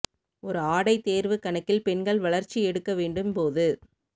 ஒரு ஆடை தேர்வு கணக்கில் பெண்கள் வளர்ச்சி எடுக்க வேண்டும் போது